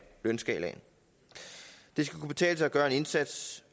lønskalaen det skal kunne betale sig at gøre en indsats